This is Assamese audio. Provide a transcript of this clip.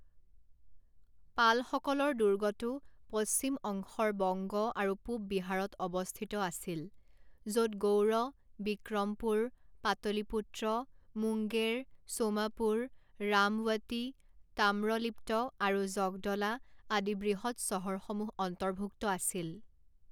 পালসকলৰ দুৰ্গটো পশ্চিম অংশৰ বঙ্গ আৰু পূব বিহাৰত অৱস্থিত আছিল, য'ত গৌড়, বিক্ৰমপুৰ, পাতলীপুত্ৰ, মুংগেৰ, ছোমাপুৰ, ৰামৱতী, তাম্ৰলিপ্ত, আৰু জগদলা আদি বৃহৎ চহৰসমূহ অন্তৰ্ভুক্ত আছিল।